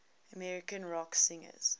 american rock singers